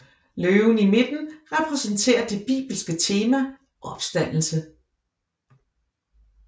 Løven i midten repræsenterer det bibelske tema opstandelse